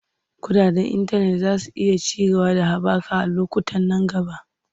Kuɗaɗen intanet za su iya ci gaba da haɓaka a lokutan nan gaba.